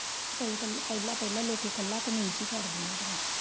ਪਹਿਲਾ ਪਹਿਲਾ ਲੋਕੀ ਕੱਲਾ ਕਮੀਜ ਹੀ ਕੱਢਿਆ ਹੁੰਦੀਆਂ।